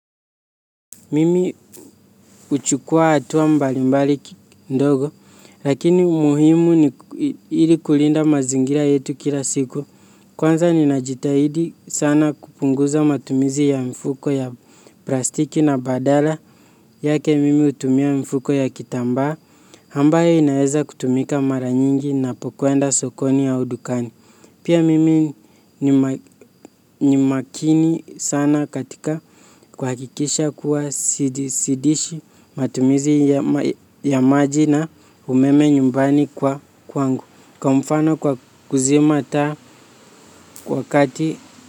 Mimi huchukua hatua mbali mbali kidogo, lakini muhimu ili kulinda mazingira yetu kila siku. Kwanza ninajitahidi sana kupunguza matumizi ya mifuko ya plastiki na badala yake mimi hutumia mifuko ya kitamba. Ambayo inaweza kutumika mara nyingi ninapokwenda sokoni au dukani. Pia mimi ni makini sana katika kuhakikisha kuwa sidishi matumizi ya maji na umeme nyumbani kwangu. Kwa mfano kwa kuzima taa wakati.